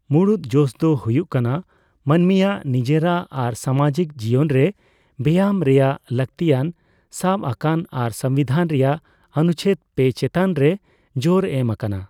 ᱢᱩᱲᱩᱫ ᱡᱚᱥ ᱫᱚ ᱦᱩᱭᱩᱜ ᱠᱟᱱᱟ ᱢᱟᱹᱱᱢᱤᱭᱟᱜ ᱱᱤᱡᱮᱨᱟᱜ ᱟᱨ ᱥᱟᱢᱟᱡᱤᱠ ᱡᱤᱭᱚᱱ ᱨᱮ ᱵᱮᱭᱟᱢ ᱨᱮᱭᱟᱜ ᱞᱟᱹᱠᱛᱤᱭᱟᱱ ᱥᱟᱵᱽ ᱟᱠᱟᱱᱟ ᱟᱨ ᱥᱚᱝᱵᱤᱫᱷᱟᱱ ᱨᱮᱭᱟᱜ ᱚᱱᱩᱪᱷᱮᱫ III ᱪᱮᱛᱟᱱ ᱨᱮ ᱡᱳᱨ ᱮᱢ ᱟᱠᱟᱱᱟ ᱾